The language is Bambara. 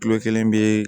Kilo kelen bɛ